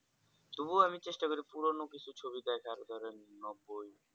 তবু আমি চেষ্টা করি পুরোনো কিছু ছবি দেখার ধরেন নব্বই